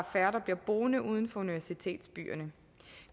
færre der bliver boende uden for universitetsbyerne